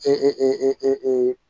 E